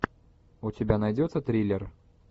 у тебя найдется триллер